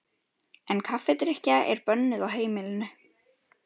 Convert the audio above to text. En kaffidrykkja er bönnuð á heimilinu.